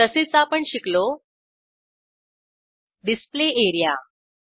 तसेच आपण शिकलो डिस्प्ले एरिया